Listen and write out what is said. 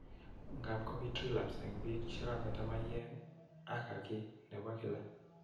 Ngap kopit relapse eng' piik che kametto maiyek aka ki nepo kila